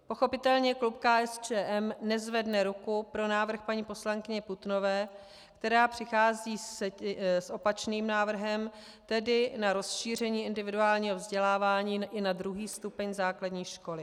Pochopitelně klub KSČM nezvedne ruku pro návrh paní poslankyně Putnové, která přichází s opačným návrhem, tedy na rozšíření individuálního vzdělávání i na druhý stupeň základní školy.